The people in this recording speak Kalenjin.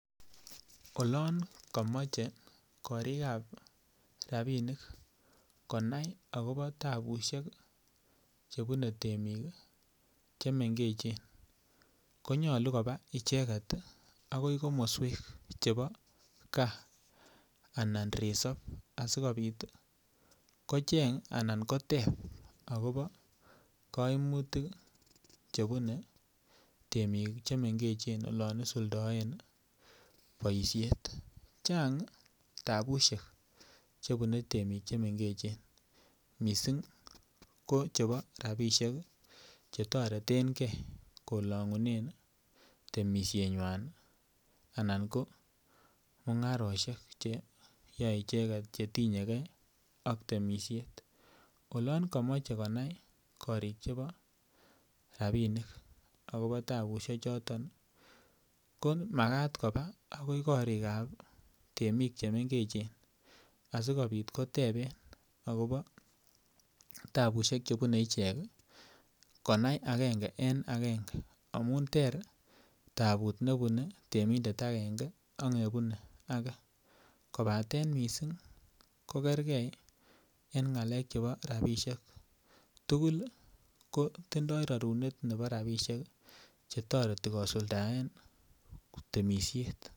Olon komoche korik chebo rabisiek akobo tabusiek Che bune temik Che mengechen ko nyolu koba icheget agoi komoswek chebo gaa Anan resop asikobit kocheng anan koteb agobo kaimutik Che bune temik Che mengechen olon isuldoen boisiet chang tapusiek Che bune temik Che mengechen mising ko chebo rabisiek Che toretengei kolongunen temisienywa anan ko mungarosiek Che yaei icheget Che tinye ge ak temisiet oloon komoche konai korik chebo rabinik akobo tapusiechoton ko Magat koba agoi korik ab temik Che mengechen asikobit koteben akobo tapusiek Che bune ichek konai agenge en agenge amun ter taput nebune temindet agenge ak nebune age kobaten mising ko kergei en ngalek chebo rabisiek tugul ko tindoi rarunet nebo rabisiek Che toreti kosuldaen temisiet